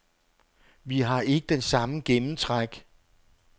Vi har ikke den samme gennemtræk.